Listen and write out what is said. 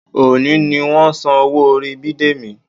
Òní ni wọ́n san owó orí Bidemi